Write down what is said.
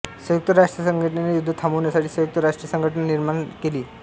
संयुक्त राष्ट्रसंघटनेने युद्ध थांबविण्यासाठी संयुक्त राष्ट्रसंघटना सेना निर्माण केली